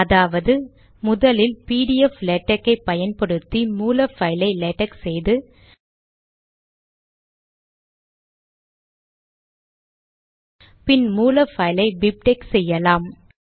அதாவது முதலில் PDF LaTeX ஐ பயன்படுத்தி மூல பைலை லேடக் செய்து பின் மூல பைலை பிப்டெக்ஸ் செய்யலாம்